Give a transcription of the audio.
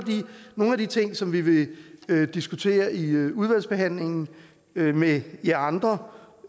nogle af de ting som vi vil diskutere i udvalgsbehandlingen med med jer andre